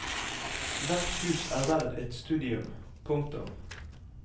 Hvert hus er verd et studium. punktum